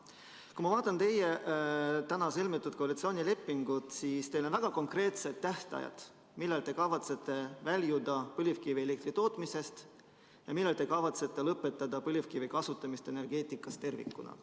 Kui ma vaatan teie täna sõlmitud koalitsioonilepingut, siis teil on väga konkreetsed tähtajad, millal te kavatsete väljuda põlevkivielektri tootmisest ja millal te kavatsete lõpetada põlevkivi kasutamise energeetikas tervikuna.